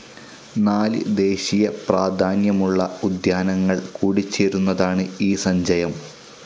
നാല് ദേശീയ പ്രധാന്യമുള്ള ഉദ്യാനങ്ങൾ കൂടിചേരുന്നതാണ് ഈ സഞ്ചയം